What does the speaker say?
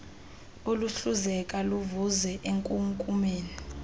oluhluzeka luvuze enkunkumeni